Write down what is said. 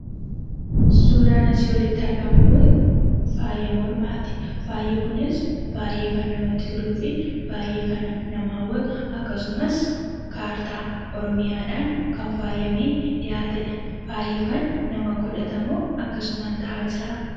Suuraan asii olitti argamu kun , faaya mormaati. Faayi kunis baay'ee kan namatti toluufi baay'ee kan nama hawwatu, akkasumas kaartaa oromiyaadhaan kan faayamee dhiyaatedha. Faayi kun namatu godhatamoo akkasumaan ta'aa jiraa?